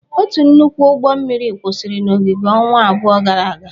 Otu nnukwu ụgbọ mmiri kwụsịrị n'ogige ọnwa abụọ gara aga.